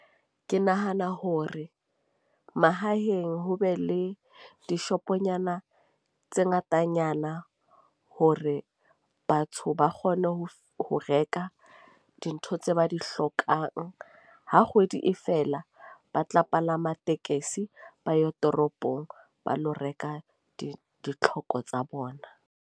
Ke nahana hore mahaheng, ho be le dishoponyana tse ngatanyana hore batho ba kgone ho ho reka dintho tse ba di hlokang. Ha kgwedi e fela ba tla palama tekesi ba yo toropong, ba lo reka di ditlhoko tsa bona.